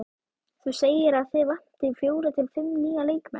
Þú segir að þig vanti fjóra til fimm nýja leikmenn?